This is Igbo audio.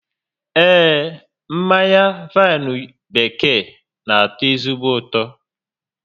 Ee, mmanya vaịnụ bekee n'atọ ezigbo ụtọ